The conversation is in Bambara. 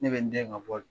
Ne bɛ n den ka bɔli